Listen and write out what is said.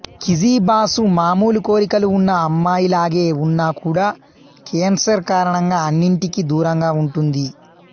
కిజీ బాసు మామూలు కోరికలు ఉన్న అమ్మాయిలాగే ఉన్నా కూడా కేన్సర్ కారణంగా అన్నింటికి దూరంగా ఉంటుంది